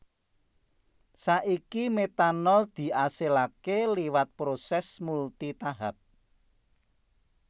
Saiki metanol diasilaké liwat prosès multi tahap